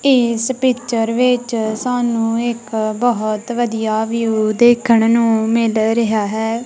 ਇਸ ਪਿਚਰ ਵਿੱਚ ਸਾਨੂੰ ਇੱਕ ਬਹੁਤ ਵਧੀਆ ਵਿਊ ਦੇਖਣ ਨੂੰ ਮਿਲ ਰਿਹਾ ਹੈ।